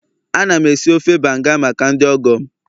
Ana m esi ofe banga maka ndị ọgọ m